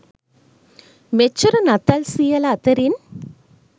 මෙච්චර නත්තල් සීයලා අතරින්